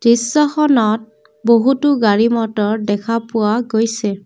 দৃশ্যখনত বহুতো গাড়ী মটৰ দেখা পোৱা গৈছে।